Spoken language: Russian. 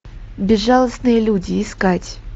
безжалостные люди искать